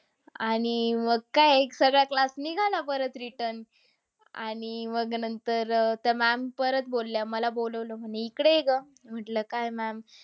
आणि मग काय सगळा class निघाला परत return. आणि मग नंतर अह त्या ma'am परत बोलल्या. मला बोलावलं म्हणे, इकडे ये गं. म्हटलं काय ma'am?